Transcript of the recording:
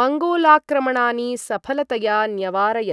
मङ्गोलाक्रमणानि सफलतया न्यवारयत्।